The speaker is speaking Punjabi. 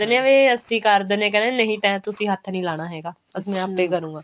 ਦਿੰਨੇ ਆਂ ਵੀ ਅਸੀਂ ਕਰ ਦਿੰਦੇ ਆਂ ਕਹਿੰਦਾ ਨਹੀਂ ਤੇ ਤੁਸੀਂ ਹੱਥ ਨਹੀਂ ਲਾਉਣਾ ਹੈਗਾ ਮੈਂ ਆਪੇ ਕਰੁਂਗਾ